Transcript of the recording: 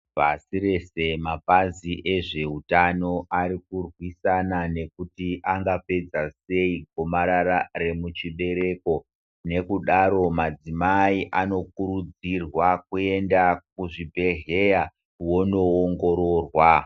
Pasi rese, mapazi ezveutano ari kurwisana nekuti angapedza sei gomarara remuchibereko. Nekudaro madzimai anokurudzirwa kuenda kuzvibhedhleya ,wonoongororwa.